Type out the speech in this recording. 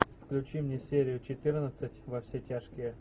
включи мне серию четырнадцать во все тяжкие